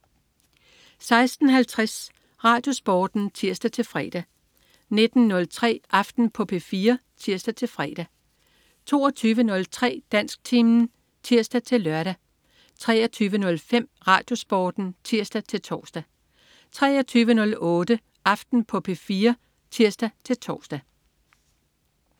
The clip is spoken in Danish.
16.50 RadioSporten (tirs-fre) 19.03 Aften på P4 (tirs-fre) 22.03 Dansktimen (tirs-lør) 23.05 RadioSporten (tirs-tors) 23.08 Aften på P4 (tirs-tors)